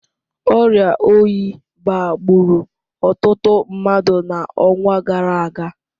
Ọrịa oyi baa gburu ọtụtụ mmadụ n’ọnwa gara aga